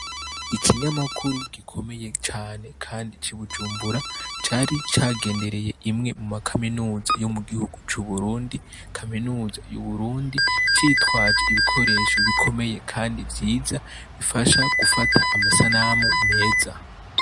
Ikinyamakuru gikomeye cane kandi c'i Bujumbura cari cagendereye imwe mu ma kaminuza yo mu gihugu c'uburundi, kaminuza y'uburundi, citwaje ibikoresho bikomeye kandi vyiza bifasha gufata amasanamu meza.